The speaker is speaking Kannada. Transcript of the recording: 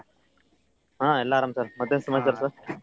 ಹಾ ಎಲ್ಲಾ ಅರಮ್ sir ಮತ್ತೇನ ಸಮಾಚಾರ sir ?